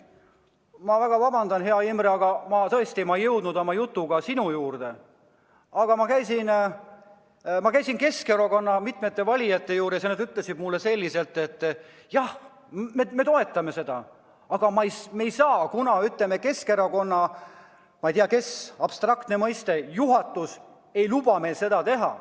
Ma väga vabandan, hea Imre, et ma ei jõudnud oma jutuga sinu juurde, aga ma käisin mitme Keskerakonna liikme juures ja nad ütlesid mulle, et jah, me toetame seda, aga me ei saa poolt hääletada, kuna Keskerakonna – ma ei tea, kas see on liiga abstraktne mõiste – juhatus ei luba meil seda teha.